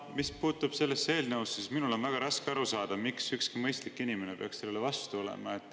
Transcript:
Mis puutub sellesse eelnõusse, siis minul on väga raske aru saada, miks ükski mõistlik inimene peaks sellele vastu olema.